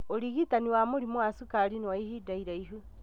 ũrigitani wa mũrimu wa cukari nĩ wa ihinda iraihu